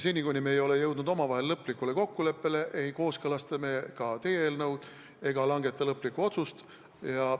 Seni, kuni me ei ole jõudnud omavahel lõplikule kokkuleppele, ei kooskõlasta me ka teie eelnõu ega langeta lõplikku otsust.